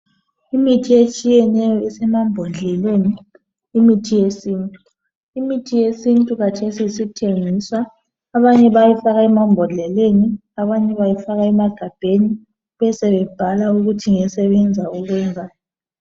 Imithi etshiyeneyo esemambodleleni, imithi yesintu. Imithi yesintu kathesi isithengiswa, abanye bayayifaka emambodleleni , abanye bayifaka emagabheni, besebebhala ukuthi ngesebenza ukwenzani.